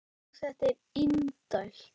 Jú, þetta er indælt